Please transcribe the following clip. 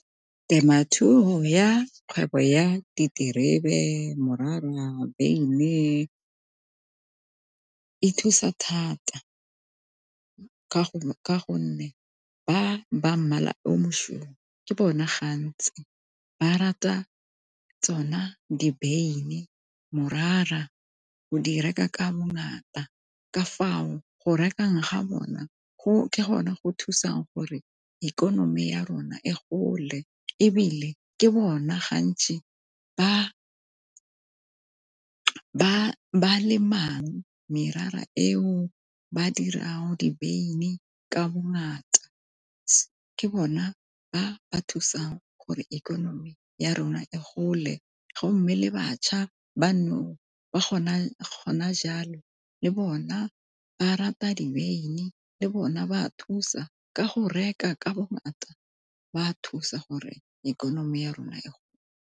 Temothuo ya kgwebo ya diterebe, morara, beine e thusa thata ka gonne ba ba mmala o mosweu ke bona gantsi ba rata tsona di beine morara go di reka ka bongata. Ka fao go rekang ga bona ke gone go thusang gore ikonomi ya rona e gole ebile ke bona ga ntsi ba ba lemang merara eo ba dirang dibeine ka bongata. Ke bona ba ba thusa gore ikonomi ya rona e gole, go mme le bašwa ba nou ba le bona ba rata dibeini le bona ba thusa ka go reka ka bongata ba thusa gore ikonomi ya rona gole.